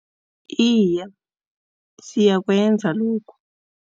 Iye siyakwenza lokho.